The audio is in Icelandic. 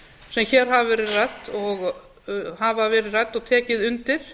sem hér hafa verið ræddar og tekið undir